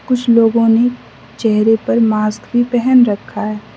कुछ लोगों ने चेहरे पर मास्क भी पहन रखा है।